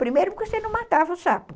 Primeiro porque você não matava o sapo.